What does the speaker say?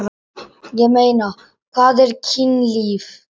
Ég meina, hvað er kynlíf?